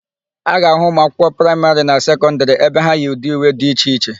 A ga-ahụ ụmụakwụkwọ praịmarị na sekọndịrị ebe ha yi ụdị uwe dị iche iche.